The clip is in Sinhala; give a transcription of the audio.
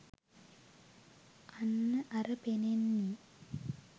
අන්න අර පෙන්නේ